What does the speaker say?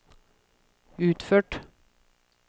utført